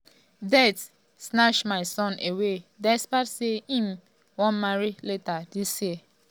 ‘death um snatch my son away despite say im um wan marry later dis year.